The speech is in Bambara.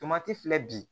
Tomati filɛ bi